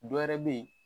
Dɔ wɛrɛ bɛ ye